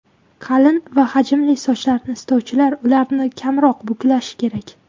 Qalin va hajmli sochlarni istovchilar, ularni kamroq buklashi kerak.